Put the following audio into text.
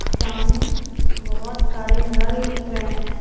सामने बहुत सारे नल दिख रहे हैं।